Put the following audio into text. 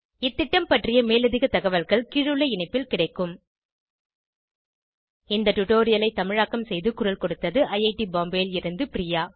இந்த திட்டம் பற்றிய மேலதிக தகவல்கள் கீழுள்ள இணைப்பில் கிடைக்கும் இந்த டுடோரியலை தமிழாக்கம் செய்து குரல் கொடுத்தது ஐஐடி பாம்பேவில் இருந்து பிரியா